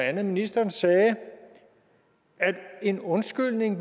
andet ministeren sagde at en undskyldning